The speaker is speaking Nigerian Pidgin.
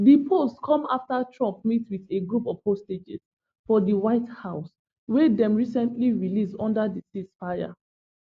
di post come afta trump meet wit a group of hostages for di white house wey dem recently release under di ceasefire